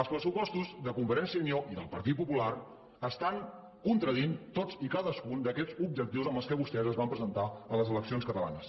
els pressupostos de convergència i unió i del partit popular estan contradient tots i cadascun d’aquests objectius amb què vostès es van presentar a les eleccions catalanes